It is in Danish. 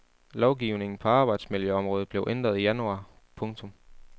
Lovgivningen på arbejdsmiljøområdet blev ændret i januar. punktum